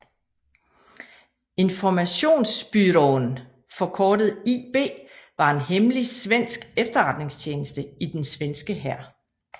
Informationsbyrån forkortet IB var en hemmelig svensk efterretningstjeneste i den svenske hær